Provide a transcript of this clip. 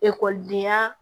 Ekɔlidenya